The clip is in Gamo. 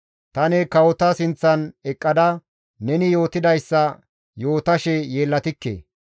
Tani kawota sinththan eqqada neni yootidayssa yootashe yeellatikke.